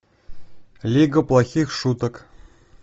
лига плохих шуток